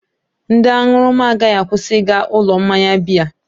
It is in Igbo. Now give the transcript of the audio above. Ndị aṅụrụma agaghị akwụsị ịga ụlọ mmanya biya